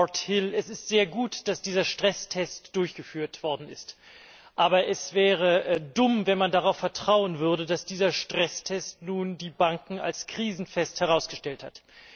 Lord Hill, es ist sehr gut, dass dieser Stresstest durchgeführt worden ist. Aber es wäre dumm, wenn man darauf vertrauen würde, dass dieser Stresstest nun die Banken als krisenfest herausgestellt hat.